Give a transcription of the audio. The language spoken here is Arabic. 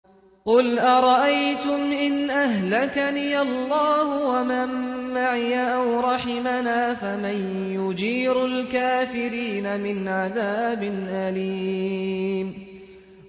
قُلْ أَرَأَيْتُمْ إِنْ أَهْلَكَنِيَ اللَّهُ وَمَن مَّعِيَ أَوْ رَحِمَنَا فَمَن يُجِيرُ الْكَافِرِينَ مِنْ عَذَابٍ أَلِيمٍ